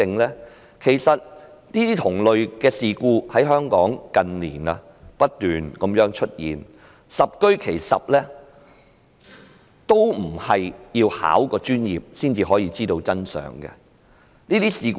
這些同類事故近年在香港不斷出現，十居其十也不是需要具備專業資格才知道真相。